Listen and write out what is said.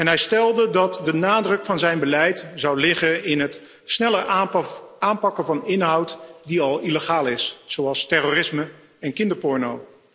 Hij stelde dat de nadruk van zijn beleid zou liggen op het sneller aanpakken van inhoud die al illegaal is, zoals terrorisme en kinderporno.